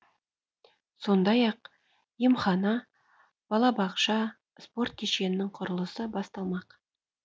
сондай ақ емхана балабақша спорт кешенінің құрылысы басталмақ